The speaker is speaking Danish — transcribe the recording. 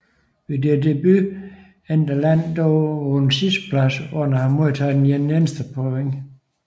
Ved deres debut endte landet dog på en sidsteplads uden at have modtaget et eneste point